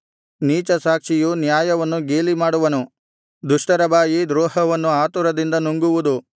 ನೀಚ ಸಾಕ್ಷಿಯು ನ್ಯಾಯವನ್ನು ಗೇಲಿಮಾಡುವನು ದುಷ್ಟರ ಬಾಯಿ ದ್ರೋಹವನ್ನು ಆತುರದಿಂದ ನುಂಗುವುದು